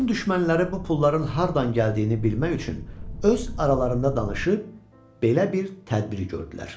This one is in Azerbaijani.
Mukun düşmənləri bu pulların hardan gəldiyini bilmək üçün öz aralarında danışıb belə bir tədbir gördülər.